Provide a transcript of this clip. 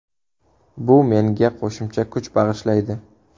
Bu menga qo‘shimcha kuch bag‘ishlaydi.